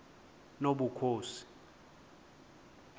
nobukhosi